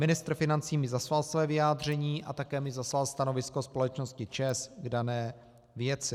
Ministr financí mi zaslal své vyjádření a také mi zaslal stanovisko společnosti ČEZ k dané věci.